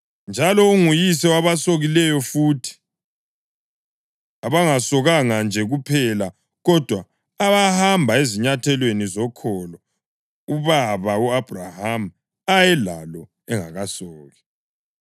Njalo unguyise wabasokileyo futhi, abangasokanga nje kuphela, kodwa abahamba ezinyathelweni zokholo ubaba u-Abhrahama ayelalo engakasoki.